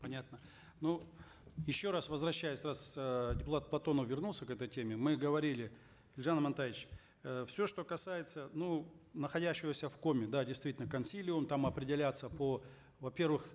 понятно ну еще раз возвращаясь раз э депутат платонов вернулся к этой теме мы говорили елжан амантаевич э все что касается ну находящегося в коме да действительно консилиум там определятся по во первых